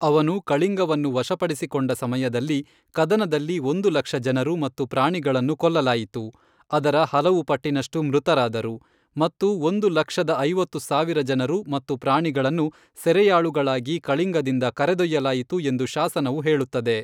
ಅವನು ಕಳಿಂಗವನ್ನು ವಶಪಡಿಸಿಕೊಂಡ ಸಮಯದಲ್ಲಿ, ಕದನದಲ್ಲಿ ಒಂದು ಲಕ್ಷ ಜನರು ಮತ್ತು ಪ್ರಾಣಿಗಳನ್ನು ಕೊಲ್ಲಲಾಯಿತು, ಅದರ ಹಲವು ಪಟ್ಟಿನಷ್ಟು ಮೃತರಾದರು, ಮತ್ತು ಒಂದು ಲಕ್ಷದ ಐವತ್ತು ಸಾವಿರ ಜನರು ಮತ್ತು ಪ್ರಾಣಿಗಳನ್ನು ಸೆರೆಯಾಳುಗಳಾಗಿ ಕಳಿಂಗದಿಂದ ಕರೆದೊಯ್ಯಲಾಯಿತು ಎಂದು ಶಾಸನವು ಹೇಳುತ್ತದೆ.